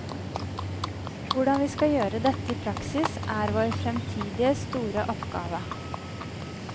Hvordan vi skal gjøre dette i praksis, er vår fremtidige store oppgave.